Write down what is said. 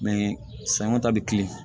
sanɲɔ ta bi kilen